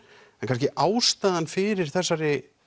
kannski ástæðan fyrir þessari